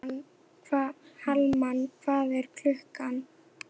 Hallmann, hvað er klukkan?